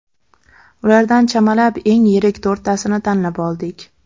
Ulardan chamalab eng yirik to‘rttasini tanlab oldik.